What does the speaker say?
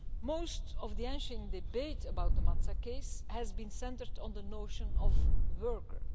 Most of the ensuing debate about the Matzak case has been centered on the notion of worker'.